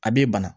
A b'e bana